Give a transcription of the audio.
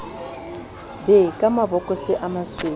be ka mabokose a masweu